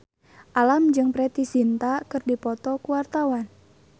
Alam jeung Preity Zinta keur dipoto ku wartawan